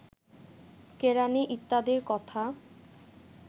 কেরাণী ইত্যাদির কথা